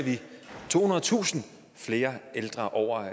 tohundredetusind flere ældre over